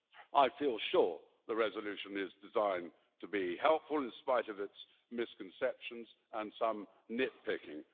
I feel sure the resolution is designed to be helpful in spite of its misconceptions and some nit-picking.